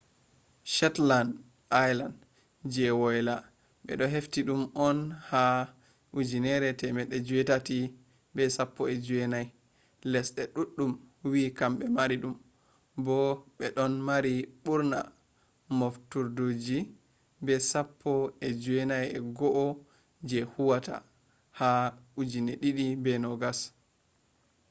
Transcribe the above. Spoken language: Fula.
shetland island je woila ɓe hefti ɗum on ha 1819 lesɗe ɗuɗɗum wi'i kamɓe mari ɗum bo'o ɓe ɗon mari ɓurna moftuderji be sappo e joowey go'o je huwata ha 2020